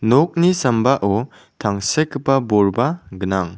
nokni sambao tangsekgipa bolba gnang.